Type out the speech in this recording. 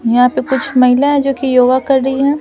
यहां पे कुछ महिला है जो कि योगा कर रही है ।